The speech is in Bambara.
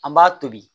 An b'a tobi